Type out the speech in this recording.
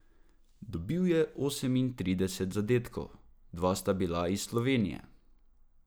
Dobil je osemintrideset zadetkov, dva sta bila iz Slovenije.